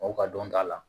Aw ka dɔnta la